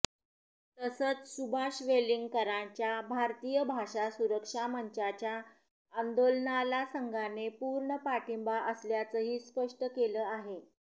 तसंच सुभाष वेलिंगकरांच्या भारतीय भाषा सुरक्षा मंचाच्या आंदोलनाला संघाने पूर्ण पाठिंबा असल्याचंही स्पष्ट केलं आहे